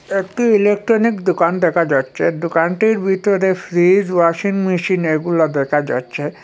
একটি ইলেকট্রনিক দোকান দেখা যাচ্ছে দোকানটির ভিতরে ফ্রিজ ওয়াশিং মেশিন এগুলো দেখা যাচ্ছে।